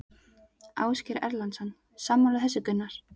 Ásgeir Erlendsson: Sammála þessu Gunnar?